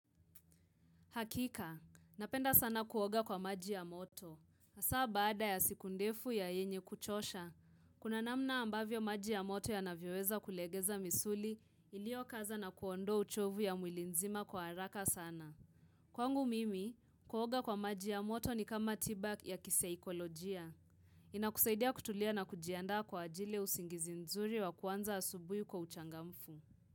Hakika, napenda sana kuoga kwa maji ya moto. Asa baada ya siku ndefu ya yenye kuchosha, kuna namna ambavyo maji ya moto ya navyoweza kulegeza misuli iliokaza na kuondoa uchovu ya mwili nzima kwa haraka sana. Kwangu mimi, kuoga kwa maji ya moto ni kama tiba ya kisaikolojia. Ina kusaidia kutulia na kujianda kwa ajili ya usingizi nzuri wa kuanza asubuhi kwa uchangamfu.